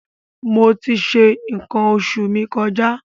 Mo ti ṣe nǹkan oṣù mi kọjá.